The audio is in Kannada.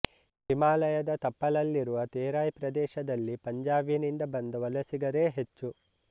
ಹಿಮಾಲಯದ ತಪ್ಪಲಲ್ಲಿರುವ ತೇರಾಯ್ ಪ್ರದೇಶದಲ್ಲಿ ಪಂಜಾಬಿನಿಂದ ಬಂದ ವಲಸಿಗರೇ ಹೆಚ್ಚು